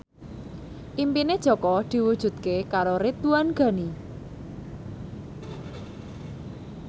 impine Jaka diwujudke karo Ridwan Ghani